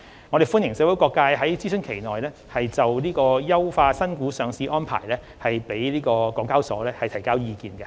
我歡迎社會各界在諮詢期內就優化新股上市安排向港交所提交意見。